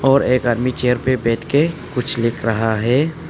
और एक आदमी चेयर पे बैठके कुछ लिख रहा है।